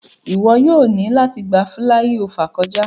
O yoo ni lati gba filaiofa kọja.